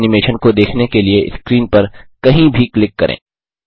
फिर एनिमेशन को देखने के लिए स्क्रीन पर कहीं भी क्लिक करें